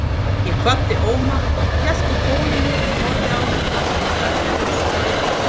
Ég kvaddi Óma, hélt á tólinu og horfði á það, lagði það svo frá mér.